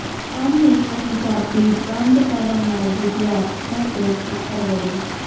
MA Punjabi ਬੰਦ ਕਰਨ ਨਾਲ ਵਿਦਿਆਰਥੀਆਂ ਦੇ ਫ਼ਿਕਰ ਵਧੇ